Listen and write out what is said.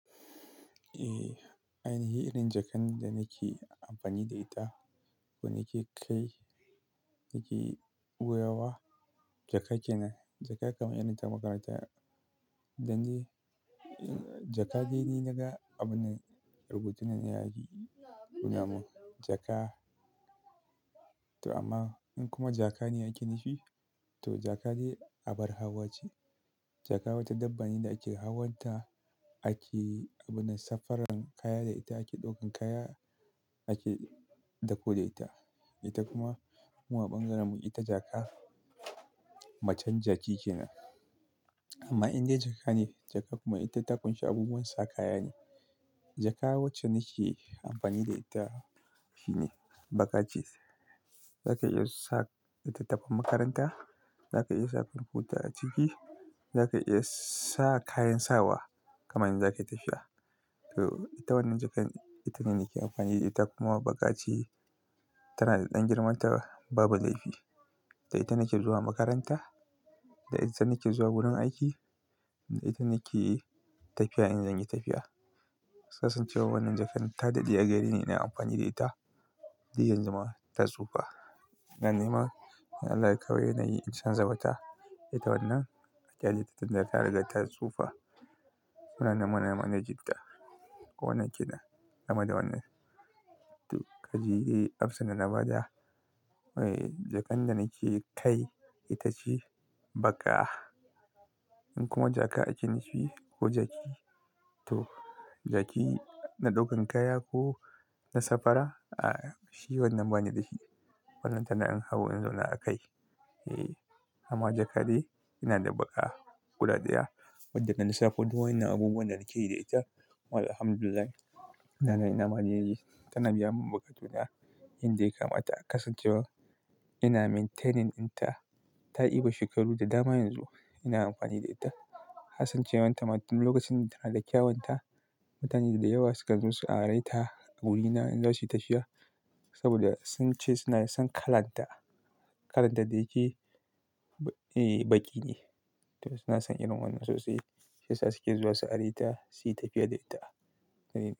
Eh, ainihi irin jakar da nake amfani da ita ko nake kai jaka kenan. Jaka kamar irin ta makaranta, dan jaka dai ne na ga abun rubutun na ya yi kuna mun jaka. Toh, amma in kuma jaaka ne ake nufi, toh jaaka dai abar hawa ce. Jaaka wata dabba ne da ake hawan ta, ake abun safaran kaya da ita, ake ɗaukan kaya, ake dako da ita. Ita kuma mu a ɓangaren mun ita jaka, macen jaki kenan. Amma indai jaka ne jaka kuma ita ta ƙunshi abubuwan sa kaya ne. Jaka wacce nake amfani da ita shine baƙa ce. Zaka iya sa littatafan makaranta, zaka iya sa kwamfuta a ciki, zaka iya sa kayan sawa kaman in zaka yi tafiya. To ita wannan jakar, ita nada kyan amfani da ita, kuma baƙa ce, tana da ɗan girman ta babu laifi. Da ita nake zuwa makaranta, da ita nake zuwa gurin aiki, da ita nake tafiya in zan yi tafiya. Kasancewar wannan jakar ta daɗe a gareni ina amfani da ita, duk yanzu ma ta tsufa. Dan nima, in Allah ya kawo yana yi in canza wata. Duka wannan a ƙyaleta tunda tariga ta tsufa. Muna neman a manage ta ko wannan kina, kama da wannan. To kaji, amsan da na bada. Eh, jakar da nake ka kai ita ce baƙa. Ni kuma jaka ake nufi ko jaki, to jaki na ɗaukan kaya ko na safara, a shi wannan bani da shi. Wannan tana in hau in zau na a kai. Eh, amma jaka dai ina da baƙa guda ɗaya, wadda na lissafo wa'innan abubuwan da nake yi da ita. Walhamdulillah, ina nan ina maneji. Don nima, in Allah ya kawo yana yi in canza wata. Kasancewar tama tun lokacin da tana da kyawunta, mutane da yawa sukan zo su are ta a wurina in za su yi tafiya, saboda sun ce suna son kalan ta. Kalar ta dai ke, eh, baƙi ne. To suna son irin wannan sosai, shi yasa suke zuwa su are ta, su yi tafiya da ita.